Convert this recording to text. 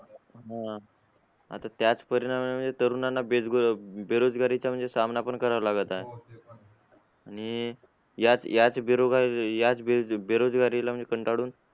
अं आता त्याच परिणामामुळे तरुणांना बेजगो बेरोजगारीचा म्हणजे सामना पण करावा लागत आहे आणि याच याच बेरो याच बेरोजगारीला म्हणजे कंटाळून